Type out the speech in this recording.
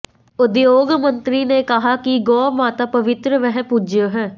उद्योग मंत्री ने कहा कि गौ माता पवित्र व पूज्य है